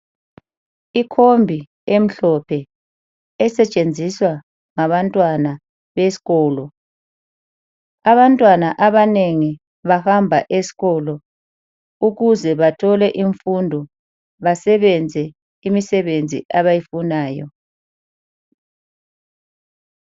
Ikhombi emhlophe esetshenziswa ngabantwana besikolo. Abantwana abanengi bahamba esikolo ukuze bathole imfundo basebenze imisebenzi abayifunayo.